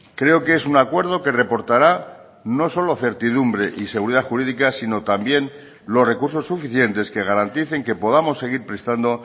creo que es un acuerdo que reportará no solo certidumbre y seguridad jurídica sino también los recursos suficientes que garanticen que podamos seguir prestando